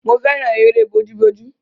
Mo fẹ́ràn eré bójú bójú.